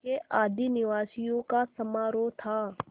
के आदिनिवासियों का समारोह था